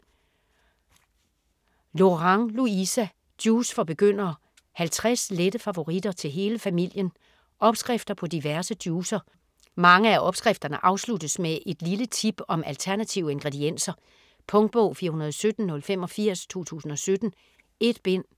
Lorang, Louisa: Juice for begyndere: 50 lette favoritter til hele familien Opskrifter på diverse juicer. Mange af opskrifterne afsluttes med et lille tip om alternative ingredienser. Punktbog 417085 2017. 1 bind.